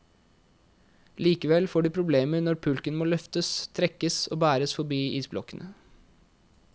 Likevel får de problemer når pulken må løftes, trekkes og bæres forbi isblokkene.